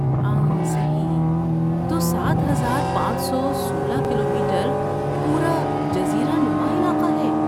آں صحیح! تو سات ہزار پانچ سو سولہ کلومیٹر پورا جزیرہ نما علاقے ہے